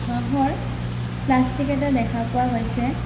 হাঁহৰ প্লাষ্টিক এটা দেখা পোৱা গৈছে।